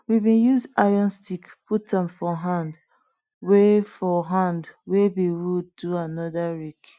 we bin use iron stick put am for hand wey for hand wey be wood do anoda rake